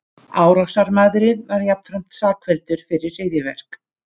Árásarmaðurinn var jafnframt sakfelldur fyrir hryðjuverk